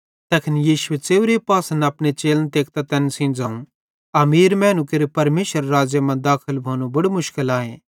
तैखन यीशुए च़ेव्रे पासन अपने चेलन तेकतां तैन सेइं ज़ोवं अमीर मैनू केरू परमेशरेरे राज़्ज़े मां दाखल भोनू बड़ू मुश्किल आए